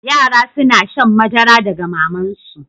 Yara suna shan madara daga maman su.